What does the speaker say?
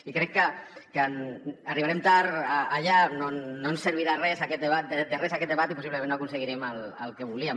i crec que arribarem tard allà no ens servirà de res aquest debat i possiblement no aconseguirem el que volíem